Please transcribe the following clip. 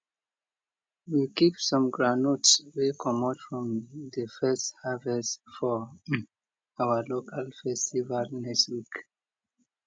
we keep some groundnuts wey comot from de first harvest for um our local festival next week